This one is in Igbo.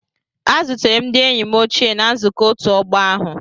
A zutere m ndị enyi m ochie na nzukọ ọtu ogbo ahu.